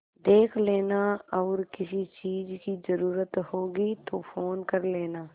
देख लेना और किसी चीज की जरूरत होगी तो फ़ोन कर लेना